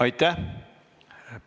Aitäh!